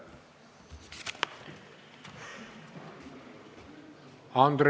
Aitäh!